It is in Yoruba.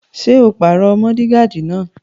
Ṣé o pàrọ mọ́ọ́digààdì náà?